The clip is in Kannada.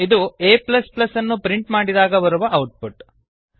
ಇದು a ಅನ್ನು ಪ್ರಿಂಟ್ ಮಾಡಿದಾಗ ಬರುವ ಔಟ್ ಪುಟ್